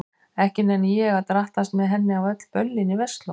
Ekki nenni ég að drattast með henni á öll böllin í Versló.